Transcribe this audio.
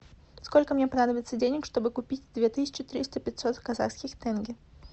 сколько мне понадобится денег чтобы купить две тысячи триста пятьсот казахских тенге